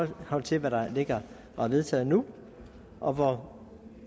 forhold til hvad der ligger og er vedtaget nu og hvor